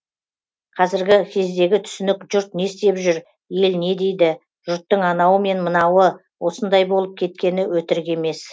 қазіргі кездегі түсінік жұрт не істеп жүр ел не дейді жұрттың анауы мен мынауы осындай болып кеткені өтірік емес